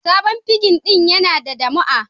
Sabon pirig din Yana da damu'a